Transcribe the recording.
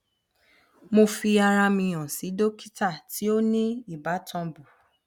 mo fi ara mi han si dokita ti o ni ibatan bu